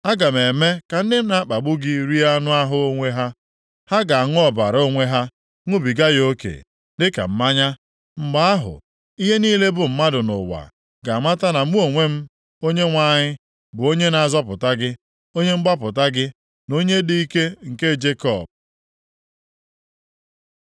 Aga m eme ka ndị na-akpagbu gị rie anụ ahụ onwe ha; ha ga-aṅụ ọbara onwe ha ṅụbiga ya oke, dịka mmanya. Mgbe ahụ, ihe niile bụ mmadụ nʼụwa ga-amata, na mụ onwe m Onyenwe anyị, bụ Onye na-azọpụta gị, Onye mgbapụta gị, na Onye dị ike nke Jekọb.”